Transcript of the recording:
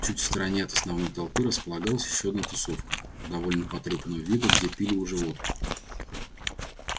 чуть в стороне от основной толпы располагалась ещё одна тусовка довольно потрёпанного вида где пили уже водку